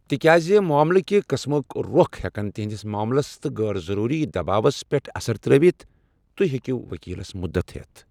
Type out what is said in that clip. تِکیازِ معملہٕ كہِ قٕسمُک رۄخ ہٮ۪كن تہنٛدِس معملس تہِ غٲر ضروُری دباوس پٮ۪ٹھ اثر ترٛٲوتھ ، تہۍ ہیٚکِو ؤكیلس مدتھ ۔